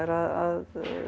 að